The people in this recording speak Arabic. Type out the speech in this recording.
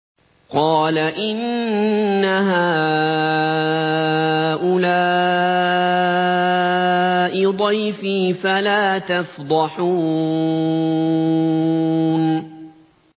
قَالَ إِنَّ هَٰؤُلَاءِ ضَيْفِي فَلَا تَفْضَحُونِ